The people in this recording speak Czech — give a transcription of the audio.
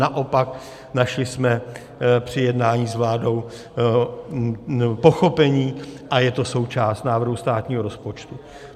Naopak našli jsme při jednání s vládou pochopení a je to součást návrhů státního rozpočtu.